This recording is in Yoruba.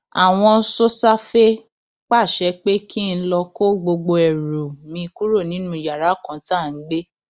àwọn sosafe pàṣẹ pé kí n lọọ kó gbogbo ẹrù mi kúrò nínú yàrá kan tá à ń gbé